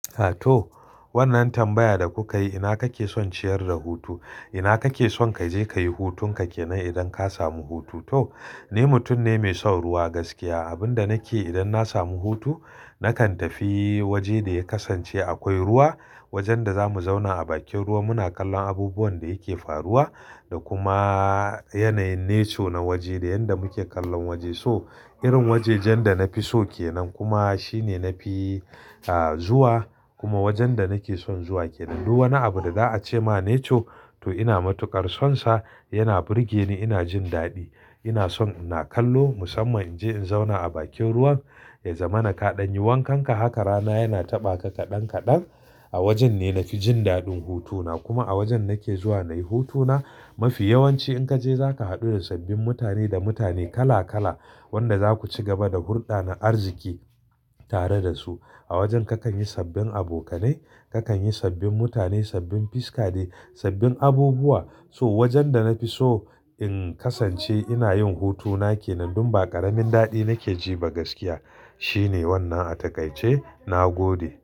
Ato wannan tambaya da kuka yi ina kake son ciyar da hutu? Ina kake son ka je ka yi hutun ka kenan idan ka samu hutu? To ni mutum ne mai son ruwa gaskiya. Abin da nake idan na samu hutu nakan tafi waje da ya kasance akwai ruwa. Wajen da za mu zauna a bakin ruwa muna kallon abubuwan da yake faruwa da kuma yanayin nature na waje da yadda muke kallon waje. So irin wajajen da na fi so kenan kuma shine nafi ah zuwa kuma wajen da nake son zuwa kenan. Duk wani abu da za a ce ma nature to ina matuƙar sonsa, yana burge ni, ina jin daɗi. Ina son ina kallo musamman in je in zauna a bakin ruwan ya zama na kaɗan, yi wankanka. Haka rana yana taɓa ka kaɗan kaɗan a wajen ne nafi jin daɗin hutuna kuma a wajen nake zuwa nayi hutuna. Mafi yawanci in ka je za ka haɗu da sabbin mutane da mutane kala kala wanda za ku ci gaba da hulɗa na arziki tare da su a wajen kakan yi sabbin abokanai. Kakan yi sabbin mutane, sabbin fiska dai, sabbin abubuwa. So wajen da na fi so in kasance ina yin hutu na kenan. Dun ba ƙaramin daɗi nake ji ba gaskiya shine wannan a takaice na gode.